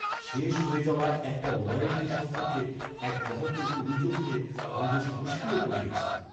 শেষ হয়ে যাওয়া একটা ওয়ারেন্টি সম্পর্কে এক গ্রাহকের অভিযোগ নিয়ে আমি বেশ মুশকিলে পড়ে গেছি।